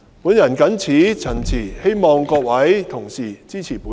我謹此陳辭，希望各位議員支持我提出的議案。